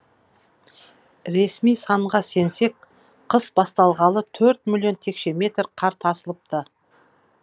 ресми санға сенсек қыс басталғалы төрт миллион текше метр қар тасылыпты